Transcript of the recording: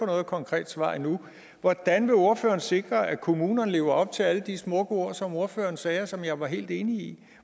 noget konkret svar endnu hvordan vil ordføreren sikre at kommunerne lever op til alle de smukke ord som ordføreren sagde og som jeg var helt enig